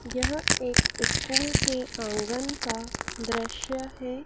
यह एक स्कूल के आंगन का दृश्य है।